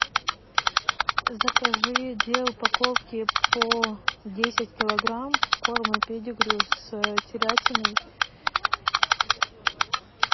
закажи две упаковки по десять килограмм корма педигри с телятиной